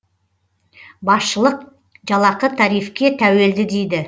басшылық жалақы тарифке тәуелді дейді